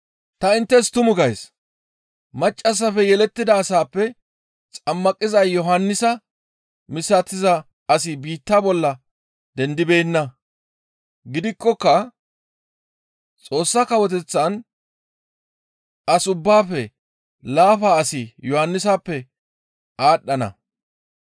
«Ta inttes tumu gays; maccassafe yelettida asappe xammaqiza Yohannisa misatiza asi biitta bolla dendibeenna. Gidikkoka Xoossa Kawoteththan as ubbaafe laafa asi Yohannisappe aadhdhana.